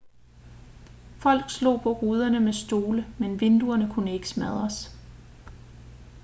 folk slog på ruderne med stole men vinduerne kunne ikke smadres